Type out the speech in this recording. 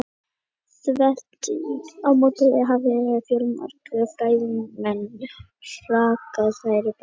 Þvert á móti hafa fjölmargir fræðimenn hrakið þær í bæði tímaritsgreinum og bókum.